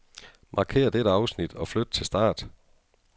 Markér dette afsnit og flyt til start.